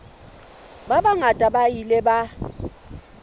ba bangata ba ile ba